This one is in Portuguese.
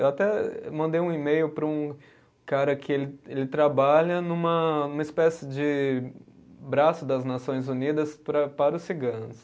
Eu até mandei um e-mail para um cara que ele, ele trabalha numa, numa espécie de braço das Nações Unidas para, para os ciganos.